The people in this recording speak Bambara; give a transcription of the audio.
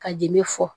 Ka jeli fɔ